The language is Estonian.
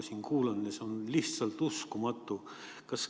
See on lihtsalt uskumatu.